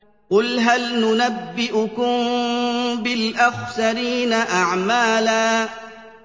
قُلْ هَلْ نُنَبِّئُكُم بِالْأَخْسَرِينَ أَعْمَالًا